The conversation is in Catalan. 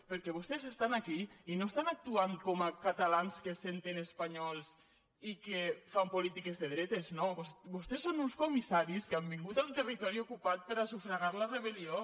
perquè vos·tès estan aquí i no estan actuant com a catalans que se senten espanyols i que fan polítiques de dretes no vostès són uns comissaris que han vingut a un territo·ri ocupat per sufragar la rebel·lió